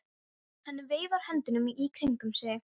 Hann veifar höndunum í kringum sig.